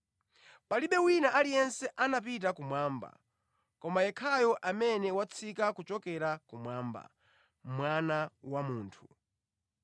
Palibe wina aliyense anapita kumwamba, koma yekhayo amene watsika kuchokera kumwamba, Mwana wa Munthu.